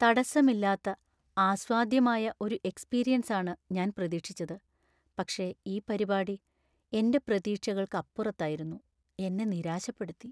തടസ്സമില്ലാത്ത, ആസ്വാദ്യമായ ഒരു എക്സ്പീരിയൻസാണ് ഞാൻ പ്രതീക്ഷിച്ചത്, പക്ഷേ ഈ പരിപാടി എന്‍റെ പ്രതീക്ഷകൾക്കപ്പുറത്തായിരുന്നു, എന്നെ നിരാശപ്പെടുത്തി.